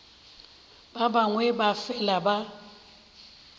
ba bangwe ba fela ba